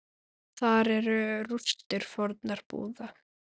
Þar eru rústir fornra búða.